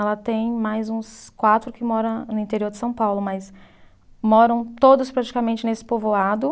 Ela tem mais uns quatro que moram no interior de São Paulo, mas moram todos praticamente nesse povoado.